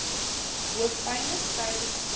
hoofpyne stywe spiere